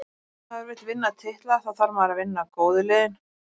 Ef maður vill vinna titla, þá þarf maður að vinna góðu liðin.